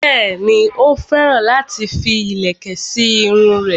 Bẹ́ẹ̀ni, ó féràn láti fi ìlẹ̀kẹ̀ sí irun rẹ̀